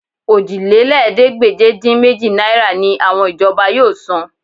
Òjìlélẹ́ẹ̀ẹ́dégbèje-dín-méjì náírà ni àwọn ìjọba yóò san